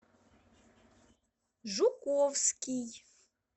жуковский